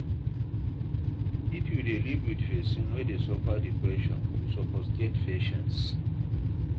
If you dey live wit pesin wey dey suffer depression, you suppose get patience.